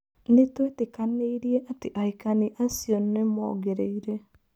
Nĩtwetĩkanĩirie atĩ ahikani acio nĩmongereire.